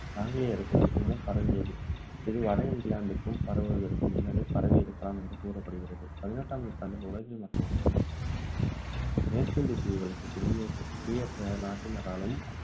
ஆங்கிலேயர்கள் மூலம் பரவியது, இது வட இங்கிலாந்துக்கு பரவுவதற்கு முன்னரே பரவி இருக்கலாம் என்று கூறப்படுகிறது. பதினெட்டாம் நூற்றாண்டில் உலகின் மற்ற இடங்களுக்கு இது பரவியது. மேற்கிந்திய தீவுகளுக்கு குடியேற்ற நாட்டினராலும்,